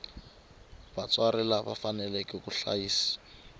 vatswari lava faneleke ku hlayisa